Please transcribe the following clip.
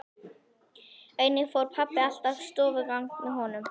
Einnig fór pabbi alltaf stofugang með honum.